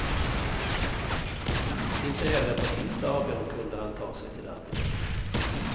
Inte heller på tisdagen kunde han sig till arbetet.